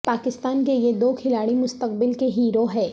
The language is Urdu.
پا کستان کے یہ دو کھلاڑی مستقبل کے ہیرو ہیں